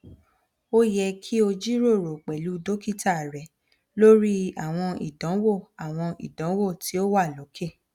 o yẹ ki o jiroro pẹlu dokita rẹ lori awọn idanwo awọn idanwo ti o wa loke